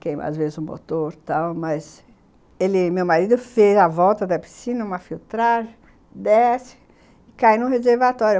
Queima, às vezes, o motor e tal, mas... Ele, meu marido, fez a volta da piscina, uma filtragem, desce e cai no reservatório.